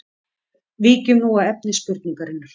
Víkjum nú að efni spurningarinnar.